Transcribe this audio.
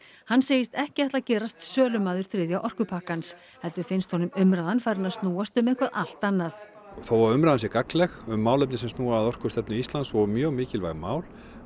hann segist ekki ætla að gerast sölumaður þriðja orkupakkans heldur finnst honum umræðan farin að snúast um eitthvað allt annað þó að umræðan sé gagnleg um málefni sem snúa að orkustefnu Íslands og mjög mikilvæg mál